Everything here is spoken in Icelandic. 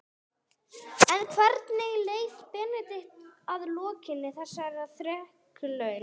En hvernig leið Benedikt að lokinni þessari þrekraun?